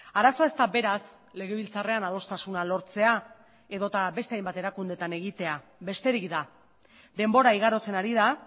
arazoa ez da beraz legebiltzarrean adostasuna lortzea edo eta beste hainbat erakundeetan egitea besterik da denbora igarotzen ari da